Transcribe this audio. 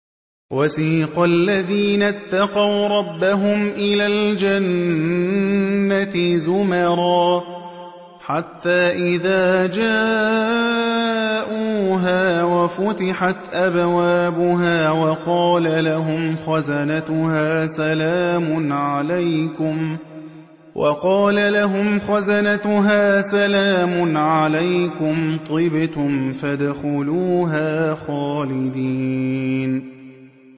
وَسِيقَ الَّذِينَ اتَّقَوْا رَبَّهُمْ إِلَى الْجَنَّةِ زُمَرًا ۖ حَتَّىٰ إِذَا جَاءُوهَا وَفُتِحَتْ أَبْوَابُهَا وَقَالَ لَهُمْ خَزَنَتُهَا سَلَامٌ عَلَيْكُمْ طِبْتُمْ فَادْخُلُوهَا خَالِدِينَ